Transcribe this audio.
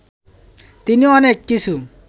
তিনি অনেক কিছু